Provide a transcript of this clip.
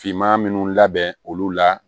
Finma minnu labɛn olu la